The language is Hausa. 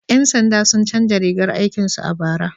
Yan sanda sun canza rigar aikin su a bara?